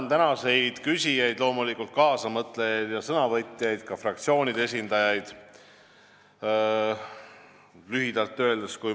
Ma tänan loomulikult tänaseid küsijaid, kaasamõtlejaid ja sõnavõtjaid, ka fraktsioonide esindajaid!